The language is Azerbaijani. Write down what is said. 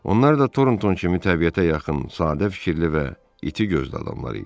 Onlar da Tornton kimi təbiətə yaxın, sadə fikirli və iti gözlü adamlar idi.